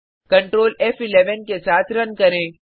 control फ़11 के साथ रन करें